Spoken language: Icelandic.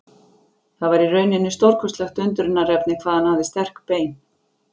Það var í rauninni stórkostlegt undrunarefni hvað hann hafði sterk bein.